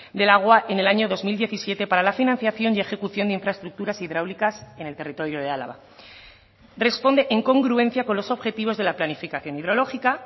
del agua en el año dos mil diecisiete para la financiación y ejecución de infraestructuras hidráulicas en el territorio de álava responde en congruencia con los objetivos de la planificación hidrológica